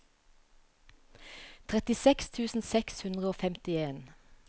trettiseks tusen seks hundre og femtien